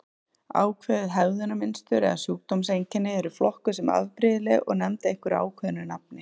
Ákveðin hegðunarmynstur eða sjúkdómseinkenni eru flokkuð sem afbrigðileg og nefnd einhverju ákveðnu nafni.